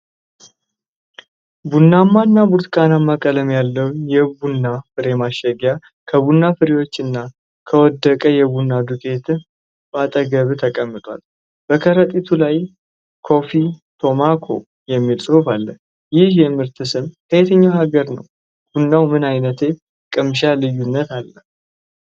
ቡናማና ብርቱካናማ ቀለም ያለው የቡና ፍሬ ማሸጊያ ከቡና ፍሬዎች እና ከወደቀ የቡና ዱቄት አጠገብ ተቀምጧል። በከረጢቱ ላይ "CAFFE TOMOCA" የሚል ጽሑፍ አለ። ይህ የምርት ስም ከየትኛው ሀገር ነው? ቡናው ምን ዓይነት የቅምሻ ልዩነት አለው?